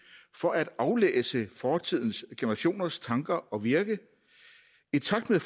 for at aflæse fortidens generationers tanker og virke i takt med